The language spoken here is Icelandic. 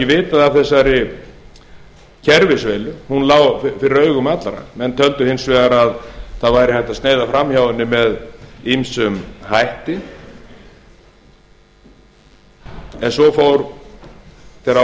vitað af þessari kerfisveilu hún lá fyrir augum allra menn töldu hins vegar að það væri hægt að sneiða fram hjá henni með ýmsum hætti en svo fór þegar á